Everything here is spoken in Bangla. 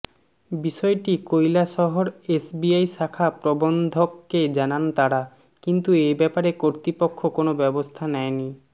বিষয়টি কৈলাসহর এসবিআই শাখা প্রবন্ধককে জানান তারা কিন্তু এব্যাপারে কর্তৃপক্ষ কোন ব্যবস্থা নেয়নি